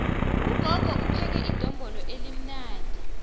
ugogo upheke idombolo elimnandi